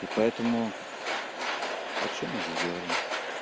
и поэтому о чём мы здесь говорим